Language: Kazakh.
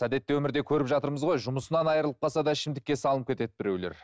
әдетте өмірде көріп жатырмыз ғой жұмысынан айырылып қалса да ішімдікке салынып кетеді біреулер